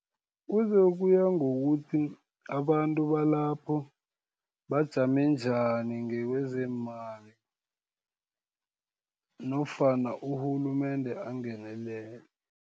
Kuzokuya ngokuthi abantu balapho, bajame njani ngekezeemali, nofana urhulumende angenelele.